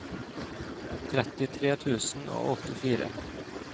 trettitre tusen og åttifire